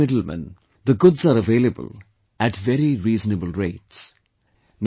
As there are no middlemen, the goods are available at very reasonable rates